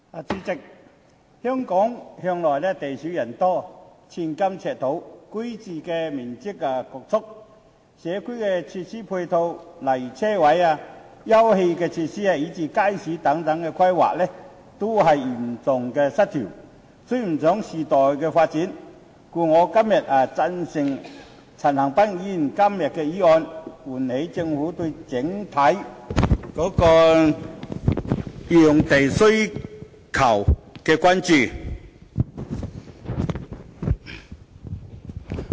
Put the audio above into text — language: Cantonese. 主席，香港向來地少人多，寸金尺土，居住環境侷促，社區設施配套如車位、休憩設施，以至街市等的規劃，均嚴重失衡，追不上時代發展，故此我支持陳恒鑌議員今天的議案，希望能喚起政府對整體用地需求規劃的關注。